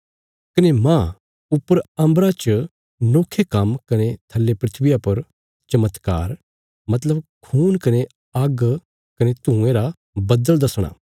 कने मांह ऊपर अम्बरा च नोखे काम्म कने थल्ले धरतिया पर चमत्कार मतलब खून कने आग्ग कने धुयें रा बद्दल़ दसणा